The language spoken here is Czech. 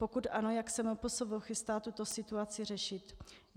Pokud ano, jak se MPSV chystá tuto situaci řešit?